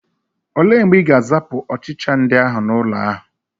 Ole mgbe Ị ga-azapụ ọchịcha ndị ahụ n'ụlọ ahụ?